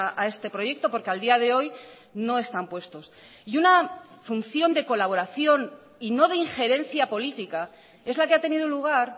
a este proyecto porque a día de hoy no están puestos y una función de colaboración y no de ingerencia política es la que ha tenido lugar